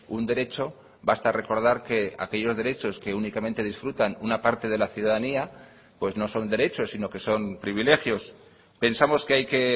un derecho basta recordar que aquellos derechos que únicamente disfrutan una parte de la ciudadanía pues no son derechos sino que son privilegios pensamos que hay que